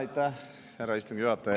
Aitäh, härra istungi juhataja!